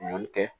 Ɲɔ kɛ